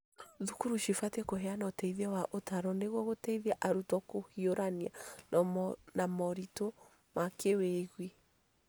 Thukuru cibatie kũheana ũteithio wa ũtaaro nĩguo gũteithia arutwo kũhiũrania na moritũ ma kĩwĩigwi.